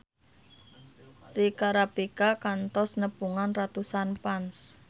Rika Rafika kantos nepungan ratusan fans